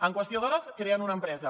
en qüestió d’hores creen una empresa